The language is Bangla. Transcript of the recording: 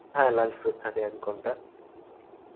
হ্যাঁ, lunch break থাকে এক ঘন্টা.